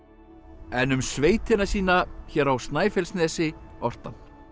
en um sveitina sína hér á Snæfellsnesi orti hann